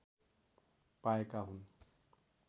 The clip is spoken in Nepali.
पाएका हुन्